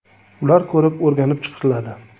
Ular ko‘rib, o‘rganib chiqiladi.